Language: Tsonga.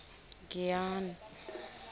giyani